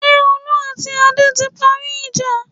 Ṣé Olú àti Adé ti parí ìjà?